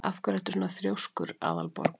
Af hverju ertu svona þrjóskur, Aðalborg?